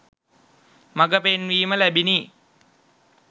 මඟ පෙන්වීම ලැබිණි.